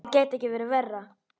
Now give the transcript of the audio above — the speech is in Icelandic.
Það gæti ekki verið verra.